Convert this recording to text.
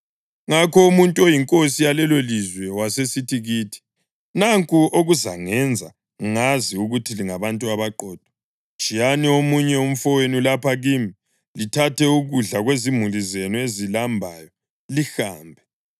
Ngakho umuntu oyinkosi yalelolizwe wasesithi kithi, ‘Nanku okuzangenza ngazi ukuthi lingabantu abaqotho: Tshiyani omunye umfowenu lapha kimi, lithathe ukudla kwezimuli zenu ezilambayo lihambe.